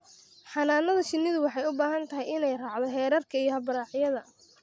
Xannaanada shinnidu waxay u baahan tahay inay raacdo xeerarka iyo habraacyada.